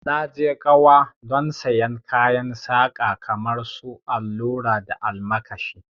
Na je kauwa don sayen kayan saka kamar su allura da almakashi